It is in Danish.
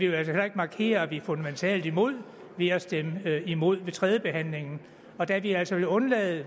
altså heller ikke markere at vi er fundamentalt imod ved at stemme imod ved tredjebehandlingen og da vi altså vil undlade at